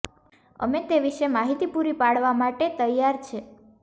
અમે તે વિશે માહિતી પૂરી પાડવા માટે તૈયાર છે